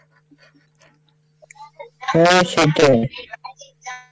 হ্যাঁ সেটাই,